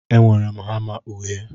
Enwere m hama uhie.